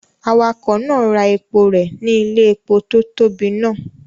Awakọ̀ náà ra epo rẹ̀ ní ilé-epo tó tóbi náà.